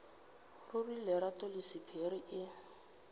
ruri lerato la sephiri e